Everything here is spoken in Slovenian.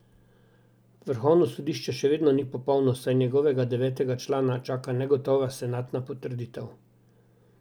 Vrhovno sodišče še vedno ni popolno, saj njegovega devetega člana čaka negotova senatna potrditev.